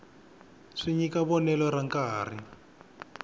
swi nyika vonelo ra nkarhi